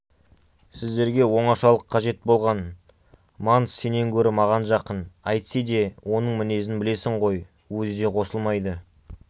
сіздерге оңашалық қажет болған манс сенен гөрі маған жақын әйтсе де оның мінезін білесің ғой өзі де қосылмайды